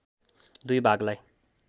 दुई भागलाई